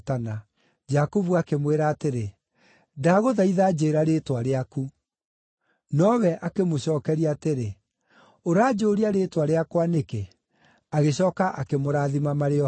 Jakubu akĩmwĩra atĩrĩ, “Ndagũthaitha, njĩĩra rĩĩtwa rĩaku.” Nowe akĩmũcookeria atĩrĩ, “Ũranjũũria rĩĩtwa rĩakwa nĩkĩ?” Agĩcooka akĩmũrathima marĩ o hau.